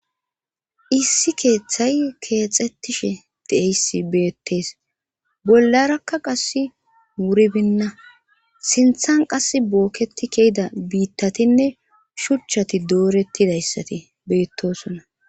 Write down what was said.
Issi keeththay keexxettishe deeyssi beettees bollarakka qass wuribinna sinthan qas bookketi kehida biittatinne shuchchati doorettidayssati beettosona.